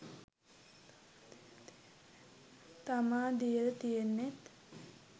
තමා දීල තියෙන්නෙත්.